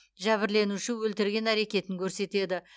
жәбірленуші өлтірген әрекетін көрсетеді